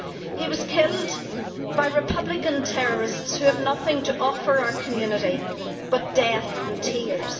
He was killed by Republican terrorists who have nothing to offer our community but death and tears.